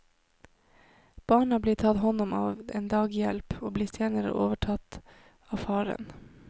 Barna blir tatt hånd om av en daghjelp, og blir senere overtatt av faren.